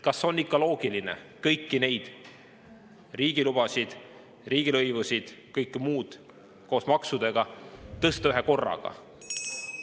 Kas on ikka loogiline kõiki neid riigilubade, riigilõivusid, kõike muud koos maksudega tõsta ühekorraga?